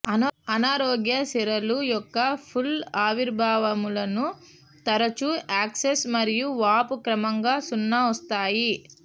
అనారోగ్య సిరలు యొక్క పూల్ ఆవిర్భావములను తరచూ యాక్సెస్ మరియు వాపు క్రమంగా సున్న వస్తాయి